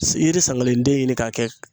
I yiri sankelenden ɲini ka kɛ